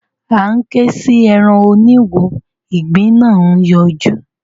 a ń ké sí èràn òní wò ìgbín nà yọjú